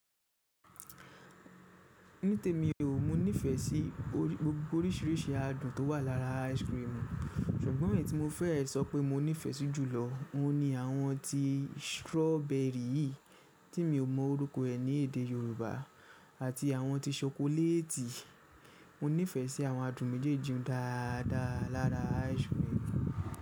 Ní tèmi o, mo nífẹ̀ẹ́ sí gbogbo oríṣiríṣi adùn tó wà lára ice cream. Ṣùgbọ́n èyí tí mo fẹ́ sọ pé mo nífẹ̀ẹ́ sí jùlọ ni àwọn ti strawberry yii tí mi ò mọ orúkọ ẹ ní èdè Yorùbá àti àwọn ti ṣokoléètì. Mo nífẹ̀ẹ́ sí àwọn adùn méjèèjì un dáadáa lára ice cream.